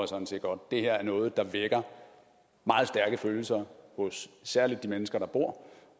sådan set godt det her er noget der vækker meget stærke følelser hos særlig de mennesker der bor